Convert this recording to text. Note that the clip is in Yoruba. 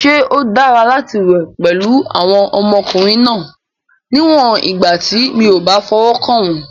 Ṣé ó dára láti wẹ̀ pẹ̀lú àwọn ọmọkùnrin náà, níwọ̀n ìgbà tí mi ò bá fọwọ́ kàn wọ́n?